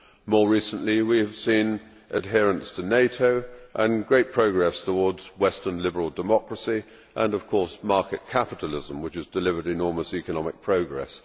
More recently we have seen adherence to NATO and great progress towards western liberal democracy and of course market capitalism, which has delivered enormous economic progress.